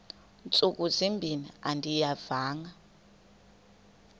ntsuku zimbin andiyivanga